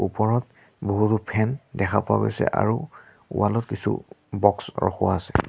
ওপৰত বহুতো ফেন দেখা পোৱা গৈছে আৰু ৱালত কিছু বক্স ৰখোৱা আছে।